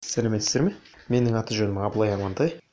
сәлеметсіздер ме менің аты жөнім абылай амантай